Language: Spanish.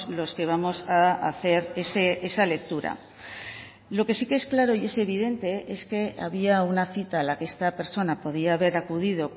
los que vamos a hacer esa lectura lo que sí que es claro y es evidente es que había una cita a la que esta persona podía haber acudido